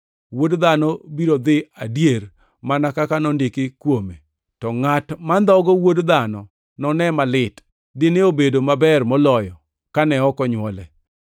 Wuod Dhano biro dhi adier mana kaka nondiki kuome. To ngʼat mandhogo Wuod Dhano none malit! Dine obedo maber moloyo kane ok onywole.”